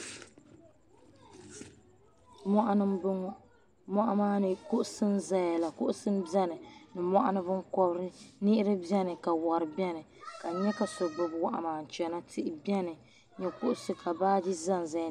Mɔɣani m-bɔŋɔ mɔɣu maa kuɣusi n-zaya la kuɣusi m-beni ni mɔɣuni binkɔbiri niɣiri beni ka war beni ka n nya ka so gbubi wahu maa n-chana tihi beni ni kuɣusi ka baaji zanzaya.